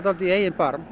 í eigin barm